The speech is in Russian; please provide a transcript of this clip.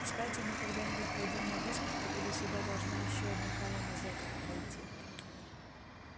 кстати мы когда-нибудь пойдём на выставку или сюда должна ещё одна колонна зеков подойти